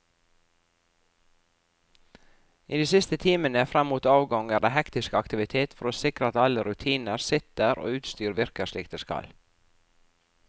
I de siste timene frem mot avgang er det hektisk aktivitet for å sikre at alle rutiner sitter og utstyr virker slik det skal.